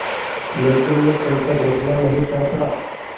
लेकिन मैं कल तक रुकना नहीं चाहता